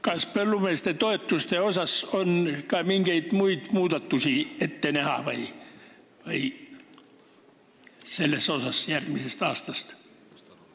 Kas põllumeeste toetuste puhul on järgmisest aastast ette näha ka mingeid muid muudatusi?